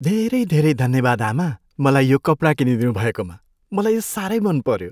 धेरै धेरै धन्यवाद, आमा! मलाई यो कपडा किनिदिनु भएकोमा, मलाई यो साह्रै मनपऱ्यो।